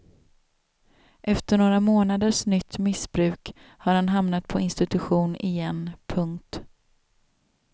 Efter några månaders nytt missbruk har han hamnat på institution igen. punkt